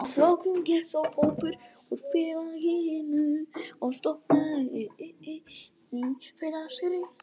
Að lokum gekk sá hópur úr félaginu og stofnaði Ný félagsrit.